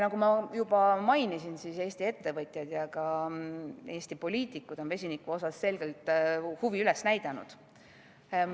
Nagu ma juba mainisin, on Eesti ettevõtjad ja ka Eesti poliitikud vesiniku osas selgelt huvi üles näidanud.